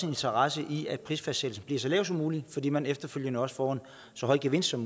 interesse i at prisfastsættelsen bliver så lav som mulig fordi man efterfølgende også får en så høj gevinst som